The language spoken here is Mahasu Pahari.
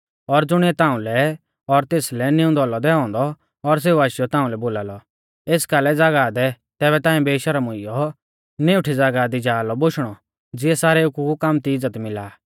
और ज़ुणिऐ ताउंलै और तेसलै नीऊंदौ औलौ दैऔ औन्दौ और सेऊ आशीयौ ताउंलै बोलालौ एस कालै ज़ागाह दै तैबै ताऐं बेशर्म हुईयौ निउठी ज़ागाह दी जा लौ बोशणौ ज़िऐ सारेऊ कु कामती इज़्ज़त मिला आ